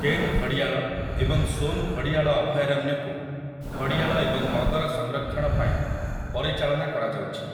କେନ୍ ଘଡ଼ିଆଳ ଏବଂ ସୋନ୍ ଘଡ଼ିଆଳ ଅଭୟାରଣ୍ୟକୁ ଘଡ଼ିଆଳ ଏବଂ ମଗର ସଂରକ୍ଷଣ ପାଇଁ ପରିଚାଳନା କରାଯାଉଛି ।